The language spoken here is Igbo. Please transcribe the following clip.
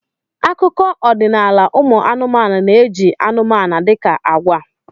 Akụkọ ọdịnala ụmụ anụmanụ na-eji anụmanụ dị ka agwa.